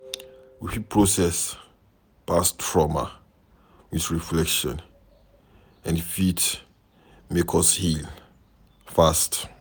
We fit process past trauma with reflection and e fit make us heal fast